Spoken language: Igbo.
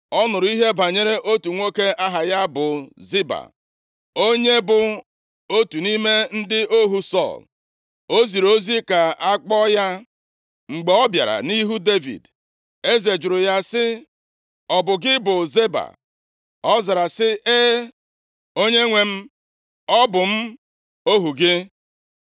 Ọ nụrụ ihe banyere otu nwoke aha ya bụ Ziba, onye bụ otu nʼime ndị ohu Sọl. O ziri ozi ka a kpọọ ya. Mgbe ọ bịara nʼihu Devid, eze jụrụ ya sị, “Ọ bụ gị bụ Ziba?” Ọ zara sị, “E, onyenwe m, ọ bụ m ohu gị.”